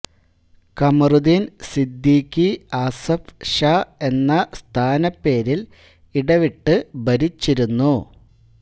കമറുദ്ദീൻ സിദ്ദിഖി അസഫ് ഷാ എന്ന സ്ഥാനപ്പേരിൽ ഇടവിട്ട് ഭരിച്ചിരുന്നു